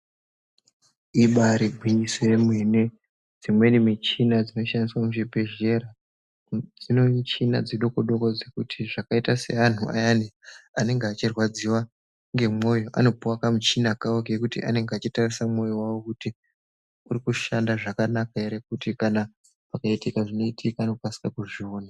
Ibarigwinyiso yemene dzimweni michina dzinoshandiswa muzvibhedhlera dzine michina dzidoko-doko dzekuti zvakaita seantu ayani anenge achirwadziva nemwoyo anopiva kamuchina kavo kekuti anenge achitarisa mwoyo vavo. Kuti uri kushanda zvakanaka ere kuti kana pakaitika zvinoitika anokasika kuzviona.